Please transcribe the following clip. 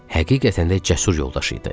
Həqiqətən də cəsur yoldaşı idi.